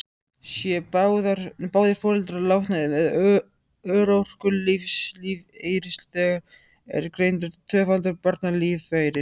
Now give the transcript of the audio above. Séu báðir foreldrar látnir eða örorkulífeyrisþegar, er greiddur tvöfaldur barnalífeyrir.